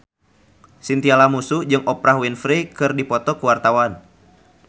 Chintya Lamusu jeung Oprah Winfrey keur dipoto ku wartawan